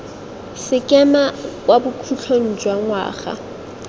sekema kwa bokhutlhong jwa ngwaga